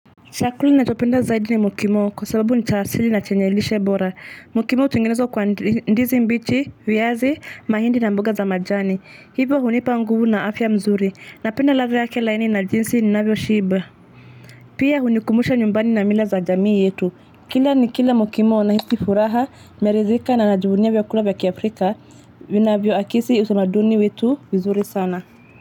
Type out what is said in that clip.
Chakula nachopenda zaidi ni mokimo kwa sababu ni cha asili na chenye lishe bora mokimo utungenezwa kwa ndizi mbichi viazi mahindi na mboga za majani hivo hunipa nguvu na afya mzuri napenda ladha yake laini na jinsi ninavyo shiba pia hunikumbusha nyumbani na mila za jamii yetu kila nikila mokimo nahisi furaha mmeridhika na najivunia vyakula vya kiafrika vinavyo akisi usamaduni wetu nzuri sana.